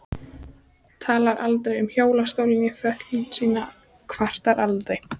Talar aldrei um hjólastól né fötlun sína, kvartar aldrei.